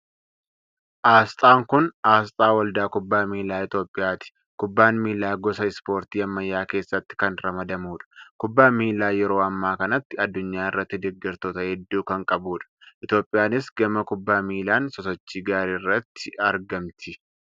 Aasxaan kun aasxaa waldaa kubbaa miilaa Itoophiyaati. Kubbaan miilaa gosa Ispoortii ammayyaa keessatti kan ramadamudha. Kubbaan miillaa yeroo ammaa kanatti addunyaa irratti deeggartoota hedduu kan qabudha. Itoophiyaanis gama kubbaa miilaan sosochii gaarii irratti argamti.